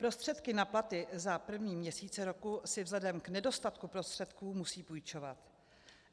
Prostředky na platy za první měsíce roku si vzhledem k nedostatku prostředků musí půjčovat.